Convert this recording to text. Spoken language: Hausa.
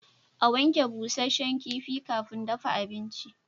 A wanke busasshen kifi kafin dafa abinci